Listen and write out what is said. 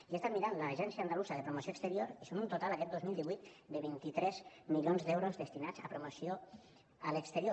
i he estat mirant l’agència andalusa de promoció exterior i són un total aquest dos mil divuit de vint tres milions d’euros destinats a promoció a l’exterior